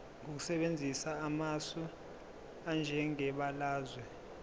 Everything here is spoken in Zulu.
ngokusebenzisa amasu anjengebalazwe